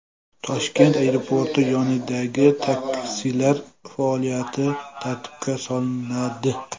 Toshkent aeroporti yonidagi taksilar faoliyati tartibga solinadi.